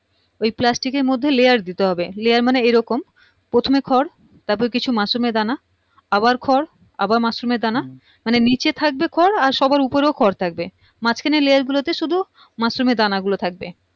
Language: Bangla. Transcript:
ওই plastic এর মধ্যে layer দিতে হবে layer মানে এইরকম প্রথমে খড় তারপর কিছু মাশরুমের দানা আবার খড় আবার মাশরুমে দানা মানে নিচে থাকবে খড় আর সবার উপরেও খড় থাকবে মাঝখানের লেয়ার গুলোতে শুধু মাশরুমের দানা গুলো থাকবে